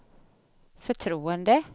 förtroende